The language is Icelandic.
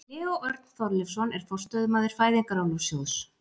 Leó Örn Þorleifsson er forstöðumaður Fæðingarorlofssjóðs.